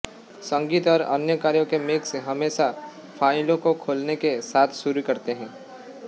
संगीत और अन्य कार्यों के मिक्स हमेशा फ़ाइलों को खोलने के साथ शुरू करते हैं